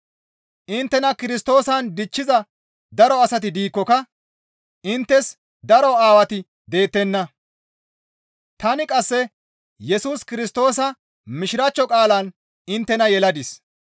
Inttena Kirstoosan dichchiza daro asati diikkoka inttes daro Aawati deettenna; tani qasse Yesus Kirstoosa Mishiraachcho qaalan inttena yeladis.